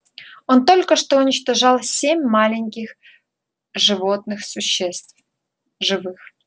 он только что уничтожал семь маленьких животных существ живых